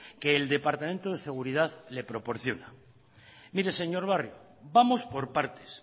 que el departamento de seguridad le proporciona mire señor barrio vamos por partes